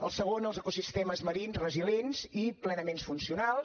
el segon els ecosistemes marins resilients i plenament funcionals